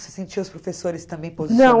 Você sentia os professores também